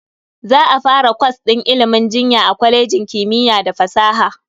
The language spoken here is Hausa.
Za a fara kwas din ilimin jinya a kwalejin kimiyya da fasaha.